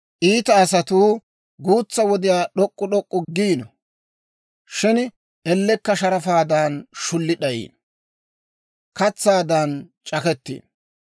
Iita asatuu guutsa wodiyaw d'ok'k'u d'ok'k'u giino; shin ellekka sharafaadan shulli d'ayiino; katsaadan c'akettiino.